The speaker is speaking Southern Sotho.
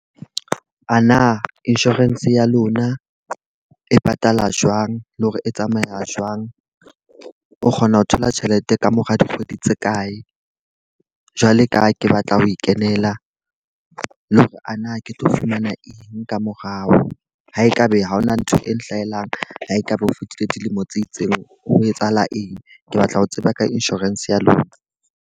A na insurance ya lona e patala jwang, le hore e tsamaya jwang? O kgona ho thola tjhelete ka mora dikgwedi tse kae? Jwale ka ha ke batla ho e kebela, le hore ana ke tlo fumana eng ka morao ho e ka be ha hona ntho e hlahelang ha ekaba o fetile dilemo tse itseng? Ho etsahala eng, ke batla ho tseba ka insurance ya lona.